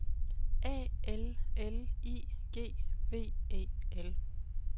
A L L I G V E L